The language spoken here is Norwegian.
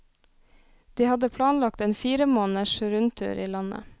De hadde planlagt en fire måneders rundtur i landet.